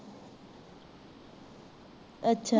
ਅੱਛਾ